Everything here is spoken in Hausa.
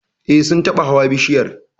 Eh, Sun taba hawa bishiyar